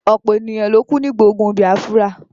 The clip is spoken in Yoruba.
ọ̀pọ̀ ènìyàn ló kú nígbà ogun bìâfúrà.